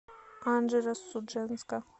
анжеро судженска